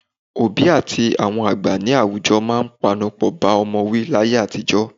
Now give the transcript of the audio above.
Òbí àti àwọn àgbà ní àwùjọ máa ń panupọ̀ bá ọmọ wí láyé àtijọ́